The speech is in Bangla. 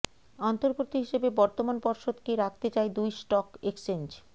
অন্তর্বর্তী হিসেবে বর্তমান পর্ষদকেই রাখতে চায় দুই স্টক এক্সচেঞ্জ